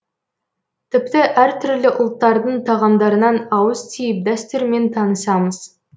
тіпті әртүрлі ұлттардың тағамдарынан ауыз тиіп дәстүрімен танысамыз